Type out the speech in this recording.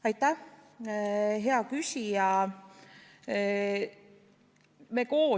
Aitäh, hea küsija!